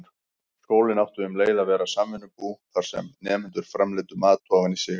Skólinn átti um leið að vera samvinnubú, þar sem nemendur framleiddu mat ofan í sig.